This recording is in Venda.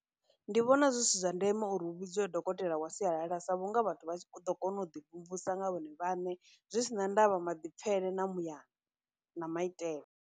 Ndi vhona zwi si zwa ndeme uri hu vhidziwe dokotela wa sialala sa vhunga vhathu vha tshi ḓo kona u ḓi mvumvusa nga vhone vhaṋe, zwi sina ndavha maḓipfhele, na muyani, na maitele.